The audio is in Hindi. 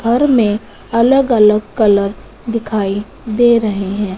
घर में अलग अलग कलर दिखाई दे रहे हैं।